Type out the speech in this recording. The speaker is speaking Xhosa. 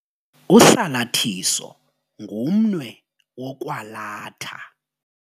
Usalathiso ngumnwe wokwalatha.